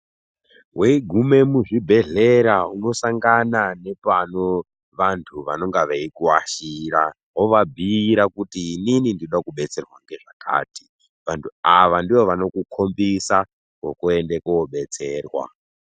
Weigume muzvi bhedhlera uno sangana nepano vantu vanonga vei kuashira. Wova bhuira kuti inini ndinoda kudetserwa ngezvakati. Vantu ava ndivo vanoku khombisa kwokuende kobetserwa.